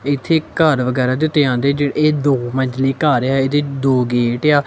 ਇੱਥੇ ਘਰ ਵਗੈਰਾ ਦੇ ਉੱਤੇ ਆਂਦੇ ਇਹ ਦੋ ਮੰਜਲੀ ਘਰ ਆ ਇਹਦੇ ਦੋ ਗੇਟ ਆ।